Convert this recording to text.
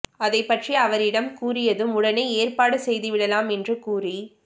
அதை பற்றி அவரிடம் கூறியதும் உடனே ஏற்பாடு செய்துவிடலாம் என்று கூறி